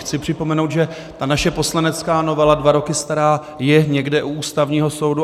Chci připomenout, že ta naše poslanecká novela, dva roky stará, je někde u Ústavního soudu.